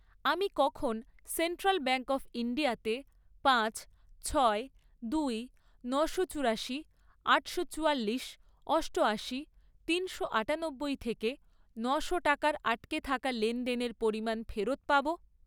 আমি কখন central bank of India তে পাঁচ, ছয়, দুই, নশো চুরাশি, আটশো চুয়াল্লিশ, অষ্টয়াশি, তিনশো আটানব্বই থেকে নশো টাকার আটকে থাকা লেনদেনের পরিমাণ ফেরত পাবো?